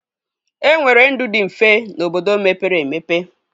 E nwere ndụ dị mfe n'obodo mepere emepe